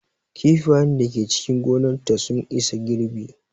Kifayen da Ke cikin gonar ta sun isa girɓi